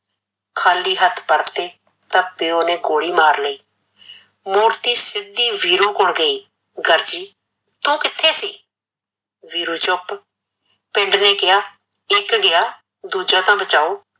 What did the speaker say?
ਖਾਲੀ ਹੱਥ ਪਰਤੇ ਤਾਂ ਪਿਓ ਨੇ ਗੋਲੀ ਮਾਰਲੀ, ਮੂਰਤੀ ਸੀਧੀ ਵੀਰੂ ਕੋਲ ਗਈ ਗਰਜੀ ਤੂ ਕਿੱਥੇ ਸੀ ਵੀਰੂ ਚੁੱਪ, ਪਿੰਡ ਨੇ ਕਿਆ ਇੱਕ ਗਿਆ ਦੂਜਾ ਤਾਂ ਬਚਾਓ